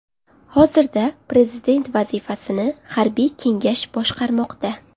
Hozirda prezident vazifasini harbiy kengash boshqarmoqda.